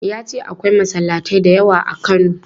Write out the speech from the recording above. Ya ce akwai masallatai da yawa a Kano.